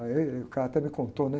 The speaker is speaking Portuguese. Aí é, e o cara até me contou, né?